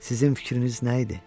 Sizin fikriniz nə idi?